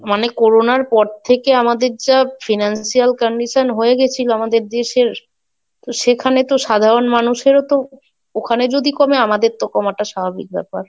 মানে করোনার পর থেকে আমাদের যা Financial condition হয়ে গেছিল আমাদের দেশের, তো সেখানে তো সাধারণ মানুষেরও তো ওখানে যদি কমে আমাদের তো কমাটা স্বাভাবিক ব্যাপার।